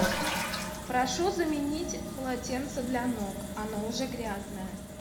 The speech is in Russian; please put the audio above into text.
прошу заменить полотенце для ног оно уже грязное